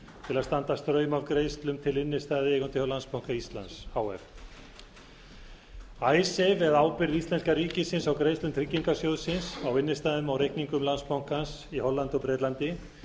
til að standa straum af greiðslum til innstæðueigenda hjá landsbanka íslands h f eða ábyrgð íslenska ríkisins á greiðslum tryggingarsjóðsins á innstæðum á reikningum landsbankans í hollandi og bretlandi